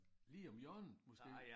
Lige om hjørnet måske